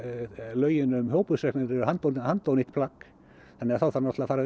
lögin um hópuppsagnir eru handónýtt handónýtt plagg þannig að þá þarf náttúrulega